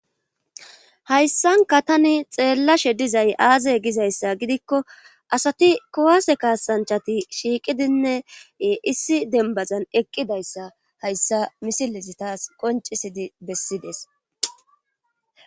hayssanka tani xeellashe dizay aaze gizayssa gidikko asati kowase kaasanchati shiiqidinne issi denbazan eqqidayssa hayssa misilezi taas qoncisidi bessides